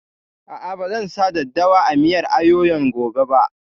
A'a, ba zan sa daddawa a miyar ayoyon gobe ba